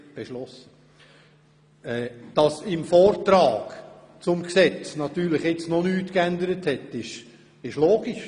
Dass der Vortrag zum Gesetz natürlich noch keine Änderung erfahren hat, ist logisch.